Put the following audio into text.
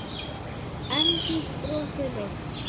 Arndís brosir veikt.